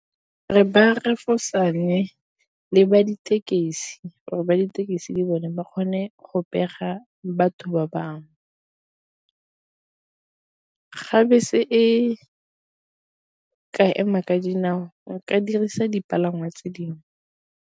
Re ba refosane le ba ditekesi, gore ba ditekesi le bone ba kgone go pega batho ba bangwe. Ga bese e ka ema ka dinao nka dirisa dipalangwa tse dingwe.